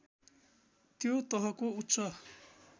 त्यो तहको उच्च